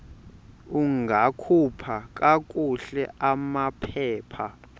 ungakhupha kakuhle amaphepha